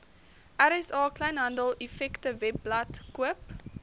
rsa kleinhandeleffektewebblad koop